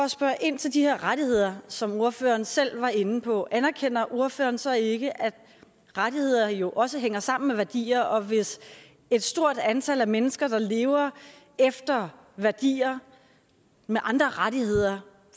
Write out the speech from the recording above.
spørge ind til de her rettigheder som ordføreren selv var inde på anerkender ordføreren så ikke at rettigheder jo også hænger sammen med værdier og at hvis et stort antal af mennesker der lever efter værdier med andre rettigheder